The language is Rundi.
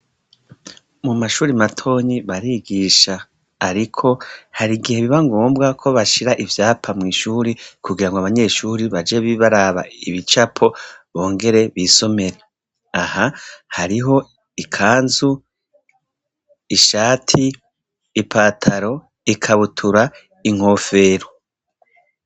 Mu mashuri matonyi barigisha ,ariko hari igihe biba ngombwa ko bashira ivyapa mw'ishuri kugira ngo abanyeshuri baje bibaraba ibicapo bongere bisomere aha hariho: ikanzu, ishati ,ipataro, ikabutura, inkofero.